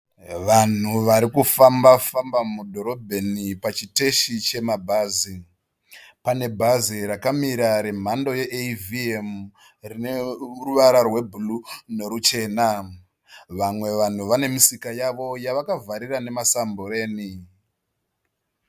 Vanhu varikufamba famba mudhorobheni pachiteshi chemabhazi. Pane bhazi rakamira remhando eyivhiemu rine ruvara rwebhuruwu neruchena. Vamwe vanhu vane misika yavo yavakavhara nemasumbureni.